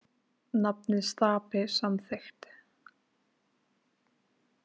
Nafnið Stapi samþykkt